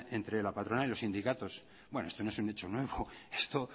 entre la patronal y los sindicatos bueno esto no es un hecho nuevo esto